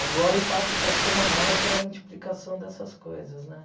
Agora o impacto pode ser maior pela multiplicação dessas coisas, né?